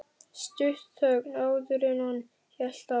Stutt þögn, áður en hann hélt áfram.